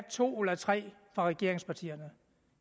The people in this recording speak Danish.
to eller tre fra regeringspartierne